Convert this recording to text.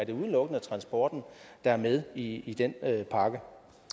det udelukkende er transporten der er med i i den pakke